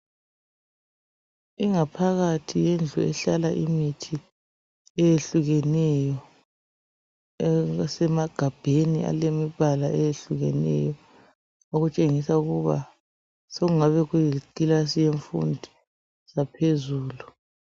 Ingaphakathi yendlu ehlala imithi eyehlukeneyo, esemagabheni alemibala eyehlukeneyo, okutshengisa ukuthi sokungabe kuyikilasi yemfundo yaphezulu.